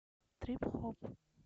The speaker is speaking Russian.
трип хоп